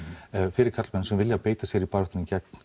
fyrir karlmenn sem vilja beita sér í baráttunni gegn